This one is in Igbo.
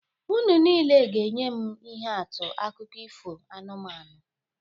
Unu niile ga-enye m ihe atụ akụkọ ifo anụmanụ